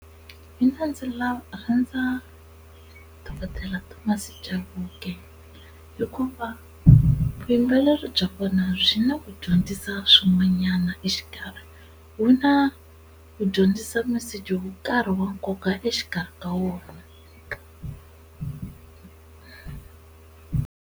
Mina ndzi lava rhandza dokodela Thomas Chauke hikuva vuyimbeleri bya vona byi na ku dyondzisa swin'wanyana exikarhi, wu na ku dyondzisa message wo karhi wa nkoka exikarhi ka wona.